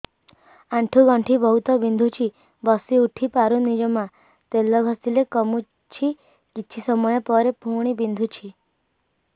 ଆଣ୍ଠୁଗଣ୍ଠି ବହୁତ ବିନ୍ଧୁଛି ବସିଉଠି ପାରୁନି ଜମା ତେଲ ଘଷିଲେ କମୁଛି କିଛି ସମୟ ପରେ ପୁଣି ବିନ୍ଧୁଛି